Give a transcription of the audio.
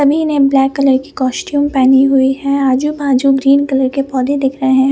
सभी ने black colour की कॉस्ट्यूम पहनी हुई है आजू बाजू ग्रीन कलर के पौधे दिख रहे हैं।